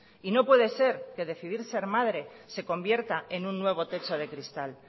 y no puede ser que decidir ser madre se convierta en un nuevo techo de cristal